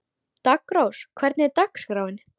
Daggrós, hvernig er dagskráin?